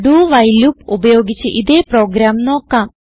dowhile loop ഉപയോഗിച്ച് ഇതേ program നോക്കാം